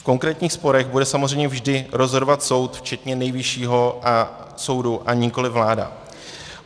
V konkrétních sporech bude samozřejmě vždy rozhodovat soud včetně Nejvyššího soudu, a nikoliv vláda.